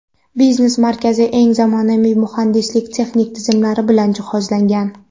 Biznes markazi eng zamonaviy muhandislik-texnik tizimlar bilan jihozlangan.